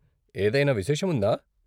ఏదైనా విశేషం ఉందా?